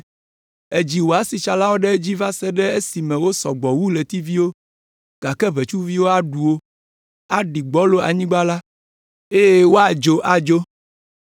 Èdzi wò asitsalawo ɖe edzi va se ɖe esime wosɔ gbɔ wu ɣletiviwo, gake ʋetsuviwo aɖu wo, aɖi gbɔlo anyigba la, eye woadzo adzo.